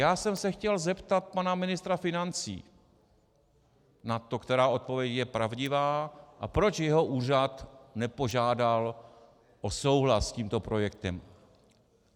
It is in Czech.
Já jsem se chtěl zeptat pana ministra financí na to, která odpověď je pravdivá a proč jeho úřad nepožádal o souhlas s tímto projektem.